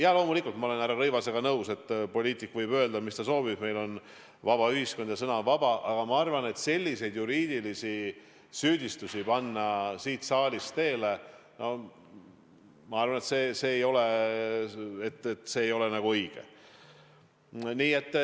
Jaa, loomulikult ma olen härra Rõivasega nõus, et poliitik võib öelda, mida ta soovib – meil on vaba ühiskond ja sõna on vaba –, aga ma arvan, et selliseid juriidilisi süüdistusi siit saalist teele panna ei ole õige.